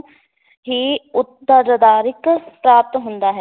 ਹੀ ਪ੍ਰਾਪਤ ਹੁੰਦਾ ਹੈ।